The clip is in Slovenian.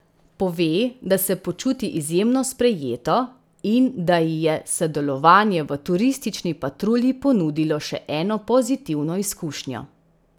Pove, da se počuti izjemno sprejeto in da ji je sodelovanje v Turistični patrulji ponudilo še eno pozitivno izkušnjo.